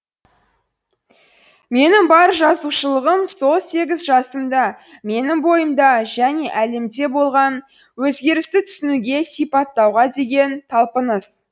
менің бар жазушылығым сол сегіз жасымда менің бойымда және әлемде болған өзгерісті түсінуге сипаттауға деген талпыныс